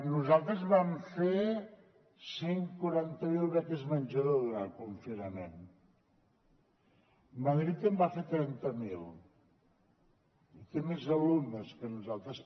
nosaltres vam fer cent i quaranta miler beques menjador durant el confinament madrid en va fer trenta miler i té més alumnes que nosaltres